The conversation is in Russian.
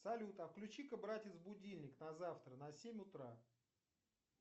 салют а включи ка братец будильник на завтра на семь утра